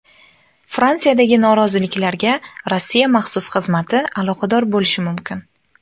Fransiyadagi noroziliklarga Rossiya maxsus xizmati aloqador bo‘lishi mumkin.